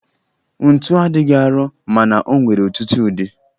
Ntu adịghị arọ mana o nwere ọtụtụ ụdị